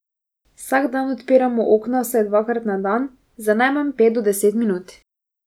Vsak dan odprimo okna vsaj dvakrat na dan, za najmanj pet do deset minut.